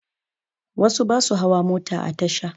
Wasu ba su hawa mota a tasha